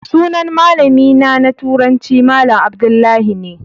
Sunan malamina na turanci malam Abdullahi ne.